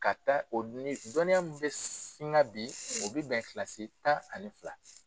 Ka taa o ni dɔnniya min bɛ singa bi o bɛ bɛn kilasi tan ani fila